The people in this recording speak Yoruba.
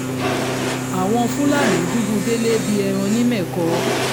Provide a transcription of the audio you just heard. àwọn fúlàní dùbú délé bíi ẹran nìmẹ̀kọ